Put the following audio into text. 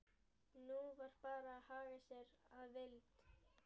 Nú var bara að haga sér að vild.